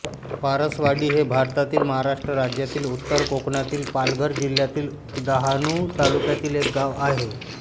पारसवाडी हे भारतातील महाराष्ट्र राज्यातील उत्तर कोकणातील पालघर जिल्ह्यातील डहाणू तालुक्यातील एक गाव आहे